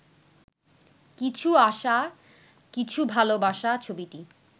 কিছু আশা কিছু ভালোবাসা ছবিটি